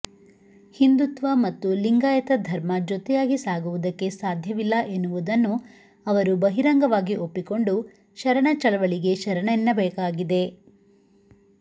ಹಿಂದುತ್ವ ಮತ್ತು ಲಿಂಗಾಯತ ಧರ್ಮ ಜೊತೆಯಾಗಿ ಸಾಗುವುದಕ್ಕೆ ಸಾಧ್ಯವಿಲ್ಲ ಎನ್ನುವುದನ್ನು ಅವರು ಬಹಿರಂಗವಾಗಿ ಒಪ್ಪಿಕೊಂಡು ಶರಣಚಳವಳಿಗೆ ಶರಣನೆನ್ನಬೇಕಾಗಿದೆ